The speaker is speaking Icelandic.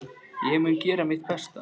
Ég mun gera mitt besta.